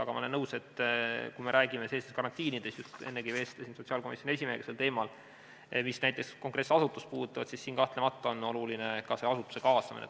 Aga ma olen nõus, et kui me räägime karantiinist – ennegi vestlesin sotsiaalkomisjoni esimehega sel teemal –, mis näiteks konkreetset asutust puudutab, siis siin on kahtlemata oluline asutuse kaasamine.